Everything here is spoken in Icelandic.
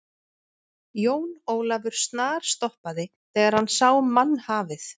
Jón Ólafur snarstoppaði þegar hann sá mannhafið.